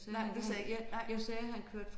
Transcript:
Nej det sagde jeg ikke nej